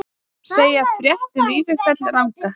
Segja frétt um Vífilfell ranga